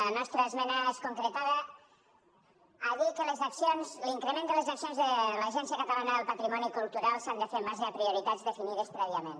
la nostra esmena es concretava a dir que l’increment de les accions de l’agència catalana del patrimoni cultural s’ha de fer en base a prioritats definides prèviament